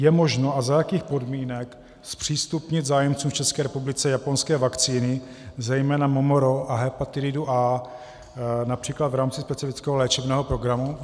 Je možno a za jakých podmínek zpřístupnit zájemcům v České republice japonské vakcíny, zejména MMR a hepatitidu A, například v rámci specifického léčebného programu?